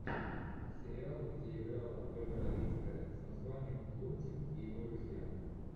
сериал где играла ольга равицкая с названием лунтик и его друзья